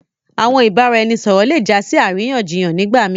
Àwọn ìbàràẹ̀nisọ̀rọ̀ lẹ jà sí aráyànṣíyàn nígbà mí.